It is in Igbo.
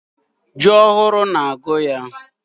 Ji ohụrụ na agụ yaa.